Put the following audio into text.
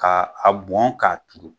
K' a a bɔn k'a kilen